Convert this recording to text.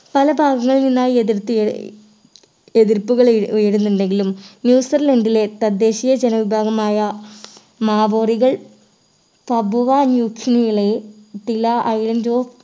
പല ഭാഗങ്ങളിൽ നിന്നായി എതിർത്തിയ ഏർ എതിർപ്പുകൾ ഏർ ഉയരുന്നുണ്ടെങ്കിലും ന്യൂസിലൻഡിലെ തദ്ദേശീയ ജന വിഭാഗമായ മാവോറികൾ തപോവ ന്യുച്ചിലേള യെ island